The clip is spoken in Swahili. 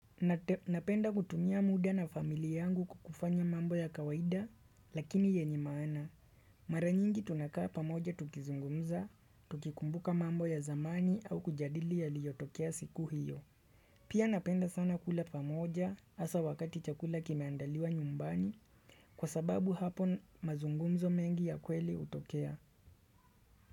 Napenda kutumia muda na familia yangu ku kufanya mambo ya kawaida lakini yenye maana. Mara nyingi tunakaa pamoja tukizungumza, tukikumbuka mambo ya zamani au kujadili yaliyotokea siku hiyo. Pia napenda sana kula pamoja hasa wakati chakula kimeandaliwa nyumbani kwa sababu hapo mazungumzo mengi ya kweli hutokea.